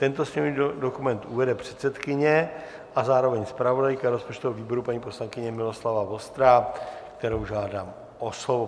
Tento sněmovní dokument uvede předsedkyně a zároveň zpravodajka rozpočtového výboru paní poslankyně Miloslava Vostrá, kterou žádám o slovo.